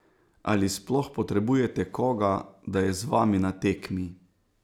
Ali sploh potrebujete koga, da je z vami na tekmi?